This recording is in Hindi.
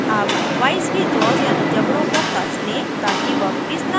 अब वाइस के जबड़ों यानि जॉज़ को कस लें ताकि वर्कपीस न हिले